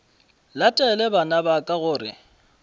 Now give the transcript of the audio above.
latele bana ba ka gore